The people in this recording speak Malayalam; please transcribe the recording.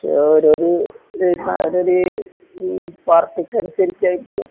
അവരൊരു ഈ സാലറി ഈ പാർട്ടിക്കനുസരിച്ചായിരിക്കുയോ